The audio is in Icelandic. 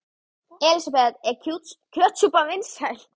Elísabet: Er kjötsúpan vinsæl?